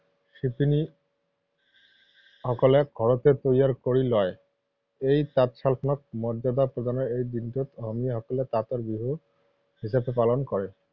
শিপিনী সকলে ঘৰতে তৈয়াৰ কৰি লয়। এই তাঁত শাল খনক মৰ্যাদা প্ৰদানেৰে এই দিনটোক অসমীয়া সকলে তাঁতৰ বিহু হিচাপে পালন কৰে।